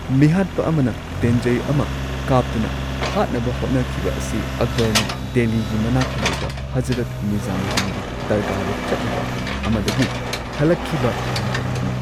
ꯃꯤꯍꯥꯠꯄ ꯑꯃꯅ ꯇꯦꯟꯖꯩ ꯑꯃ ꯀꯥꯞꯇꯨꯅ, ꯍꯥꯠꯅꯕ ꯍꯣꯠꯅꯈꯤꯕ ꯑꯁꯤ ꯑꯛꯕꯔꯅ ꯗꯦꯜꯂꯤꯒꯤ ꯃꯅꯥꯛꯇ ꯂꯩꯕ ꯍꯖꯔꯠ ꯅꯤꯖꯥꯃꯨꯗꯗꯤꯟꯒꯤ ꯗꯔꯒꯥꯗ ꯆꯠꯂꯨꯕ ꯑꯃꯗꯒꯤ ꯍꯜꯂꯛꯈꯤꯕ ꯃꯇꯝꯗꯅꯤ꯫